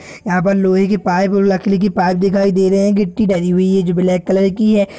यहाँ पर लोहे की पाइप और लकड़ी की पाइप दिखाई दे रहे हैं गिट्टी भरी हुई है जो ब्लैक कलर की है।